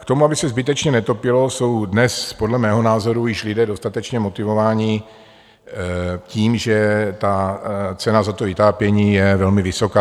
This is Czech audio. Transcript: K tomu, aby se zbytečně netopilo, jsou dnes podle mého názoru již lidé dostatečně motivováni tím, že ta cena za to vytápění je velmi vysoká.